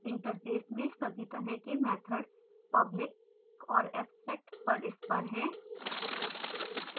interface में सभी तरह के मैथड्स public और abstract परस्पर हैं